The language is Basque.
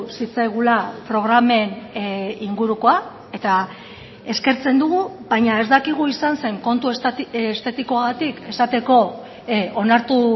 zitzaigula programen ingurukoa eta eskertzen dugu baina ez dakigu izan zen kontu estetikoagatik esateko onartu